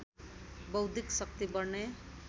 बौद्धिक शक्ति बढ्ने